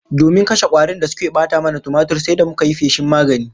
Domin kashe kwarin da suke bata mana tumatir, sai da muka yi feshin magani